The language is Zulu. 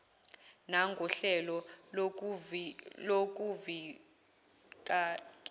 nangohlelo lokuvi kela